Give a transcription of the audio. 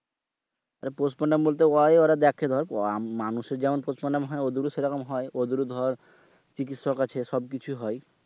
postmortem বলতে অয় ওরা দেখে দর মানুষের যেমন postmortem হয় হ্যাঁ ওদেরও সেই রকম হয়। দর চিকিৎসক আছে সব কিছু হয়।